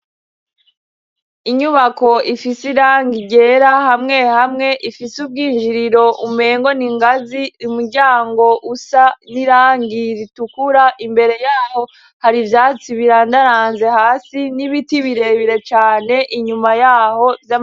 Inyubako ifise irangi ryera, hamwe hamwe ifise ubwinjiriro umengo n'ingazi. Umuryango usa n'irangi ritukura. Imbere y'aho har'ivyatsi birandaranze hasi, n'ibiti birebire cane inyuma y'aho.